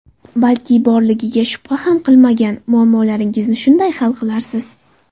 Balki borligiga shubha ham qilmagan muammolaringizni shunday hal qilarsiz.